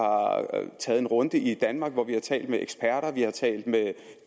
taget en runde i danmark hvor vi har talt med eksperter vi har talt med